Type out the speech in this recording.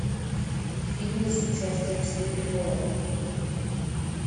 фильмы с участием серебрякова